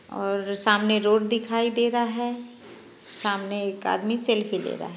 और सामने रोड दिखाई दे रहा है सामने एक आदमी सेल्फी ले रहा है।